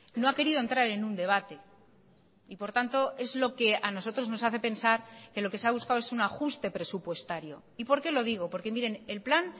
no ha querido entrar en un debate y por tanto es lo que a nosotros nos hace pensar que lo que se ha buscado es un ajuste presupuestario y por qué lo digo porque miren el plan